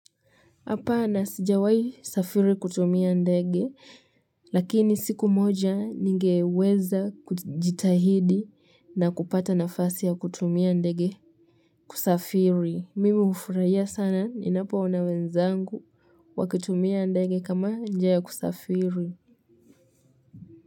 Hapa na sijawayi safiri kutumia ndege, lakini siku moja ningeweza kujitahidi na kupata nafasi ya kutumia ndege kusafiri. Mimi ufurahia sana, ni napo ona wenzangu, wakitumia ndege kama njia ya kusafiri.